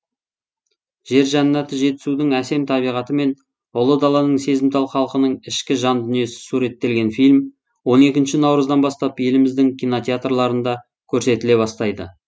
жер жәннаты жетісудың әсем табиғаты мен ұлы даланың сезімтал халқының ішкі жандүниесі суреттелген фильм он екінші наурыздан бастап еліміздің кинотеатрларында көрсетіле бастайды